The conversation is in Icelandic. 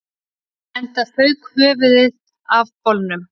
Enda fauk höfuðið af bolnum